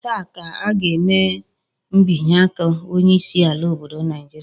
Taa ka a ga-eme mbinye aka onye isi ala obodo Naijiria